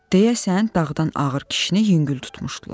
Deyəsən dağdan ağır kişini yüngül tutmuşdular.